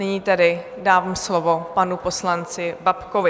Nyní tedy dávám slovo panu poslanci Babkovi.